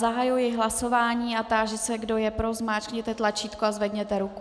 Zahajuji hlasování a táži se, kdo je pro, zmáčkněte tlačítko a zvedněte ruku.